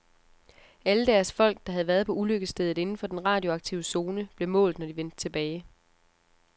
Alle deres folk, der havde været på ulykkesstedet inden for den radioaktive zone, blev målt, når de vendte tilbage.